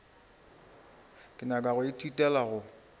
ke nyaka go ithutela go